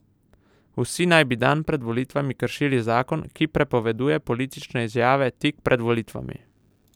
Vsi naj bi dan pred volitvami kršili zakon, ki prepoveduje politične izjave tik pred volitvami.